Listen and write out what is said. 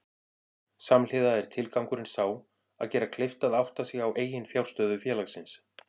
Samhliða er tilgangurinn sá að gera kleift að átta sig á eiginfjárstöðu félagsins.